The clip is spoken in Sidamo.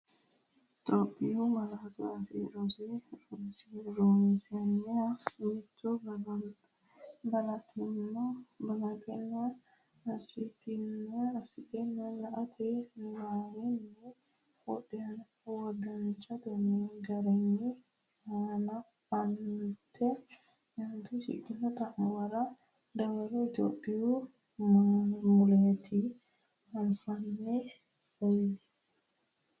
Itophiyu Malaatu Afii Roso Rosiishsha Mite Balaxxine assitine late niwaawenni wodanchitini garinni aant shiqqino xa’muwara dawaro Itophiyu malaatu afiinni uuyye.